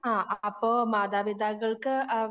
ആഹ് അപ്പോ മാതാപിതാക്കൾക്ക് ആഹ്